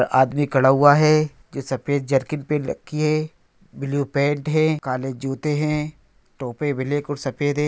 एक आदमी खड़ा हुआ है जो सफेद जैकेट पहन रखी है ब्लू पैंट है काले जूते है टोपी ब्लैक और सफ़ेद है।